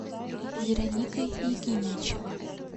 вероника якимичева